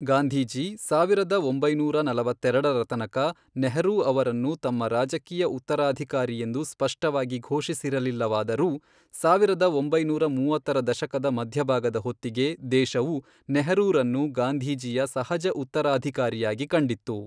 ಗಾಂಧೀಜಿ, ಸಾವಿರದ ಒಂಬೈನೂರ ನಲವತ್ತೆರೆಡರ ತನಕ ನೆಹರೂ ಅವರನ್ನು ತಮ್ಮ ರಾಜಕೀಯ ಉತ್ತರಾಧಿಕಾರಿಯೆಂದು ಸ್ಪಷ್ಟವಾಗಿ ಘೋಷಿಸಿರಲಿಲ್ಲವಾದರೂ, ಸಾವಿರದ ಒಂಬೈನೂರ ಮೂವತ್ತರ ದಶಕದ ಮಧ್ಯಭಾಗದ ಹೊತ್ತಿಗೆ, ದೇಶವು ನೆಹರೂರನ್ನು ಗಾಂಧೀಜಿಯ ಸಹಜ ಉತ್ತರಾಧಿಕಾರಿಯಾಗಿ ಕಂಡಿತ್ತು.